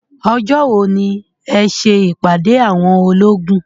Ọjọ́ wo ni ẹ ṣe ìpàdé àwọn olóògùn.